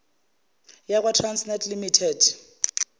yakwa trasnet limited